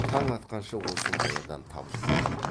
таң атқанша осы маядан тапжылтпа